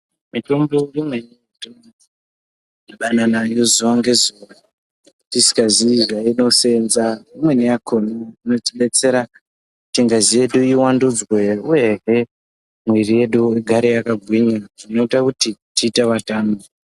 Mitombo imweni yatino dhibane nayo zuva nge zuva tisika zii zvaino senza imweni yakona inoti detsera kuti ngazi yedu iwandudzwe uyehe mwiri yedu igare yaka gwinya zvinoita kuti tiite vatano.